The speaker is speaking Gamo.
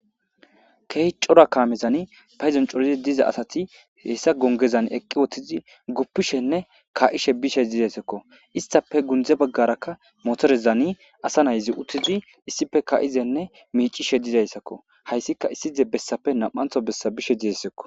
Kehy cora kaamezan payzon corizi diza asati hessa gongezan eqqi woththizi guppishenne ka'ishe bishe dizaysakko istape gundze baggarakka motorezani asa nayzi uttizi issife ka'izenne miicishe dizayssakko hayssika issize bessafe nam'antho bessa bishe dizesekko